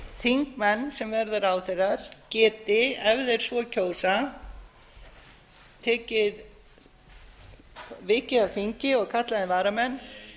þingmenn sem verða ráðherrar geti ef þeir svo kjósa vikið af þingi og kallað inn varamenn